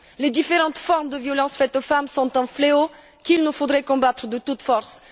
Les différentes formes de violences faites aux femmes sont un fléau qu'il nous faut combattre de toutes forces.